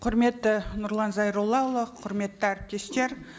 құрметті нұрлан зайроллаұлы құрметті әріптестер